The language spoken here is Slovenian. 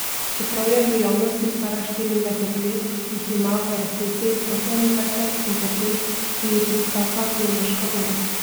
Čeprav je v javnosti stara štiriindvajset let, jih ima v resnici osemindvajset in trdi, da ji tiktaka biološka ura.